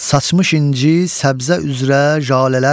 Saçmış inci səbzə üzrə jalələr.